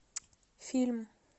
фильм